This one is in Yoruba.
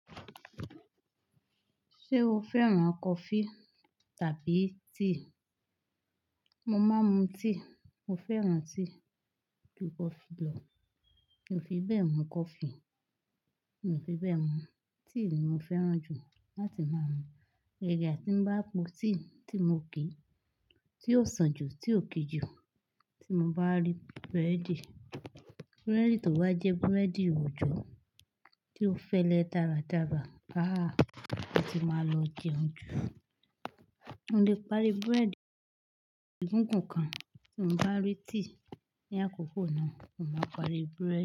Ṣé o fẹ́ràn coffee tàbí tea? Mo máa ń mu tea. Mo fẹ́ràn tea ju coffee lọ. Mi ò fi bẹ́ẹ̀ mu coffee. Mi ò fi bẹ́ẹ̀ mu. Tea ni mo fẹ́ràn jù láti máa ń mu. Gaga bí tí bá po tea tí mo ki, tí ó sàn jù, tí ó ki jù, tí mo bá rí búrẹ́dì, búrẹ́dì tó bá jẹ́ búrẹ́dì ìwòjọ tí ó fẹ́lẹ́ dáradára, ah, mo ti máa lọ jẹun jù. Mo lè parí búrẹ́dì gùngùn kan, tí mo bá rí tea ní àkókò náà, mo máa parí búrẹ́dì.